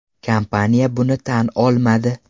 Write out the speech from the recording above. Kompaniya buni tan olmadi.